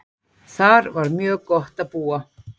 Þar var mjög gott að búa.